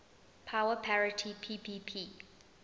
power parity ppp